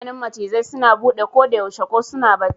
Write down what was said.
Idanun macizai suna bude kodayaushe, ko suna bacci.